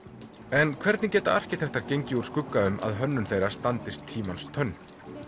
en hvernig geta arkitektar gengið úr skugga um að hönnun þeirra standist tímans tönn